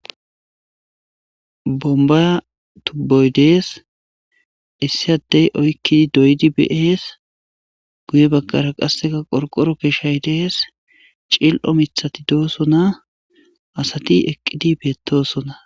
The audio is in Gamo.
Bomba tubboy dees issi addey oykkidi doydi bees guye bagkara qasseka qorqoro keeshay dees cil7o mithati doosona asati eqqidi beettosona